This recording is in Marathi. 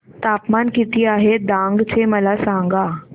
तापमान किती आहे डांग चे मला सांगा